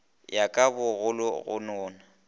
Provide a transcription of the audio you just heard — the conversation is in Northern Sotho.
ya ka bogolo go nona